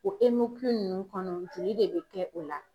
O ninnu kɔnɔ joli de bɛ kɛ o la.